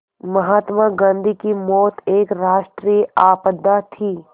महात्मा गांधी की मौत एक राष्ट्रीय आपदा थी